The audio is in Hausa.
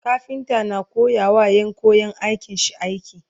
kafinta na koyawa Ƴan. koyan aikin shi aiki